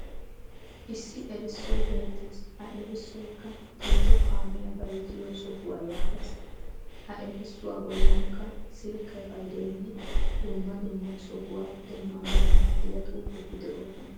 Issi erissoy beettes. Ha erissoyikka "tiito kaamiya bayizziyo sohuwa" yaages. Ha erissuwa bollankka Silke payidoyinne dumma dumma sohuwa demmanawu maaddiya xuufeti de'oosona.